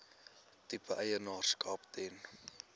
tipe eienaarskap ten